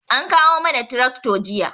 An kawo mana tirakto jiya